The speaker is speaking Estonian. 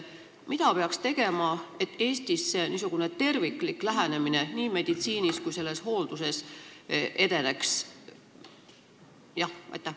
Mida peaks tegema, et Eestis niisugune terviklik lähenemine nii meditsiinis kui ka hoolduses edeneks?